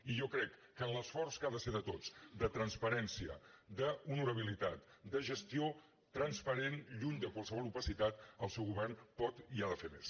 i jo crec que en l’esforç que ha de ser de tots de transparència d’honorabilitat de gestió transparent lluny de qualsevol opacitat el seu govern pot i ha de fer més